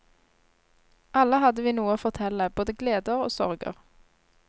Alle hadde vi noe å fortelle, både gleder og sorger.